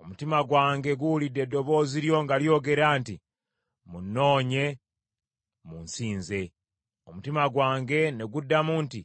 Omutima gwange guwulidde eddoboozi lyo nga lyogera nti, “Munnoonye, munsinze.” Omutima gwange ne guddamu nti,